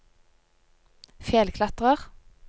fjellklatrer